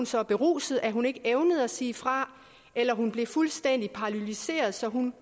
så beruset at hun ikke evnede at sige fra eller blev fuldstændig paralyseret så hun